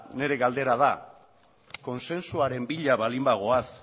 nire galdera da kontsensuaren bila baldin bagoaz